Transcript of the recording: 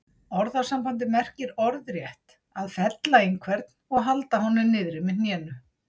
Orðasambandið merkir orðrétt að fella einhvern og halda honum niðri með hnénu.